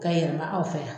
Ka yɛlɛma aw fɛ yan